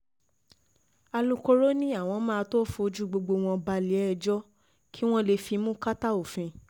alūkkóró ni àwọn máa tóó fojú gbogbo wọn balẹ̀-ẹjọ́ kí wọ́n lè fimú kàtà òfin